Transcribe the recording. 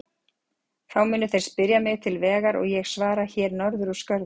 Þá munu þeir spyrja mig til vegar og ég svara: Hér norður úr skörðunum.